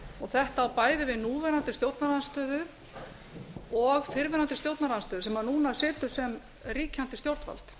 þetta á bæði við um núverandi stjórnarandstöðu og fyrrverandi stjórnarandstöðu sem núna situr sem ríkjandi stjórnvald